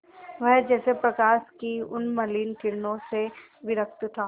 वह जैसे प्रकाश की उन्मलिन किरणों से विरक्त था